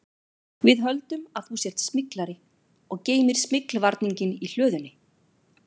Við höldum að þú sért smyglari og geymir smyglvarninginn í hlöðunni